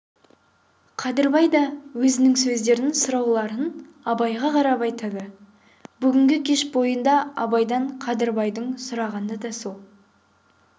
қадырбай да өзінің сөздерін сұрауларын абайға қарап айтады бүгінгі кеш бойында абайдан қадырбайдың сұрағаны да сол